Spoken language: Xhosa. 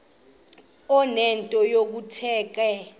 enento yokuthetha ke